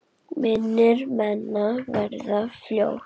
Mínir menn verða fljót